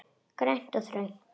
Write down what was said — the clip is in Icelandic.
Grænt og þröngt.